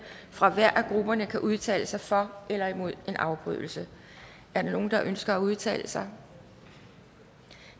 fra hver af grupperne kan udtale sig for eller imod en afbrydelse er der nogen der ønsker at udtale sig